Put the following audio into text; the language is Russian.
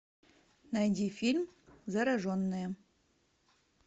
найди фильм зараженные